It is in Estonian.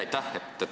Aitäh!